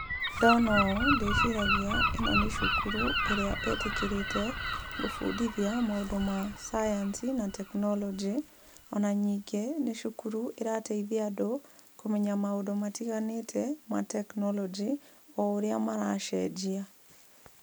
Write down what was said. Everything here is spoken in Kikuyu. Ndona ũũ, ndĩciragia ĩno nĩ cukuru, ĩrĩa ĩtĩkĩrĩte gũbundithia maũndũ ma science na tekinoronjĩ, ona ningĩ nĩ cukuru ĩrateithia andũ kũmenya maũndũ matiganĩte matekinoronjĩ o ũrĩa maracenjia.